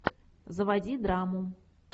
заводи драму